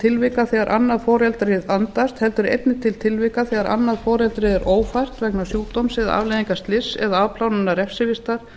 tilvika þegar annað foreldrið andast heldur einnig til tilvika þegar annað foreldrið er ófært vegna sjúkdóms eða afleiðinga slyss eða afplánunar refsivistar